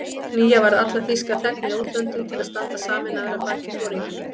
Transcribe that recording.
Knýja varð alla þýska þegna í útlöndum til að standa sameinaðir að baki foringjanum